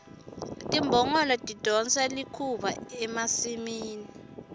timbongolo tidonsa likhuba emasimini